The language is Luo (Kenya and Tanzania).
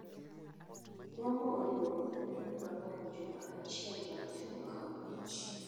Bongo oduogo e piny Gabon juma achiel bang' temo kawo loch